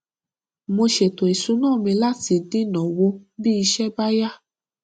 mo ṣètò ìṣúná mi láti dínàwó bí iṣẹ bá yá